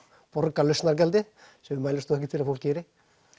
borga lausnargjaldið sem við mælumst ekki til að fólk geri